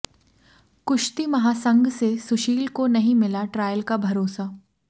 कुश्ती महासंघ से सुशील को नहीं मिला ट्रायल का भरोसा